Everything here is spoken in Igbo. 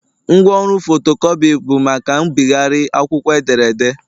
Ngwaọrụ fotocopi bụ maka mbịgharị akwụkwọ edere ede